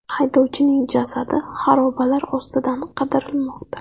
Haydovchining jasadi xarobalar ostidan qidirilmoqda.